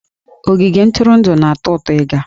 Ogige ntụrụndụ na-atọ ụtọ ịga